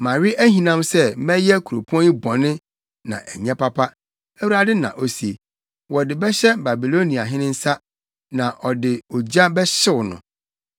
Mawe ahinam sɛ mɛyɛ kuropɔn yi bɔne na ɛnyɛ papa, Awurade na ose. Wɔde bɛhyɛ Babiloniahene nsa, na ɔde ogya bɛhyew no.’